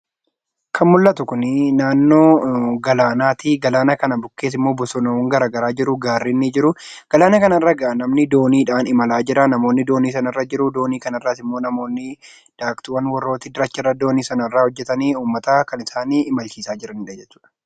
Kan mul'atu kun, naannoo galaanaati. Galaana kana bukkees bosonaawwan garaagaraa jiruu, gaarreen ni jiruu, galaana kana irra namni dooniidhaan imalaa jiraa, namoonni doonii sana irra jiruu, akkasumas namoonni daaktuuwwan warra doonii sana irra hojjetanii kan uummataa kan isaan imalchiisaa jiraniidha jechuudha.